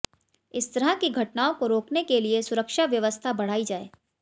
इस तरह की घटनाओं को रोकने के लिए सुरक्षा व्यवस्था बढ़ाई जाये